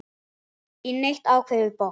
í neitt ákveðið box.